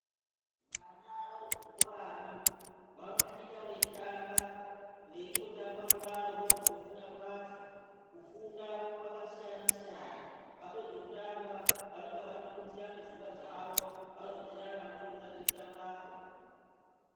Vana varimuzvikoramwo vanosvika veitamba veitotamba kudaro ndokutofunda kwacho. Kufunda kwakasiyana-siyana vapedze kutamba vanonge vatopinzirane pfungwa dzavo varodzerana kubudikidza ngekutambako.